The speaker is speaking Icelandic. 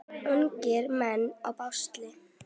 Ungir menn í basli.